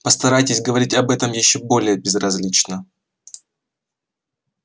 постарайтесь говорить об этом ещё более безразлично